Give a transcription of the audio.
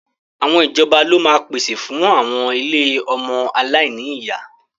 Àwọn ìjọba ló máa ń pèsè fún àwọn ilé ọmọ aláìní ìyá